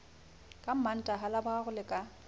ka mantaha laboraro le ka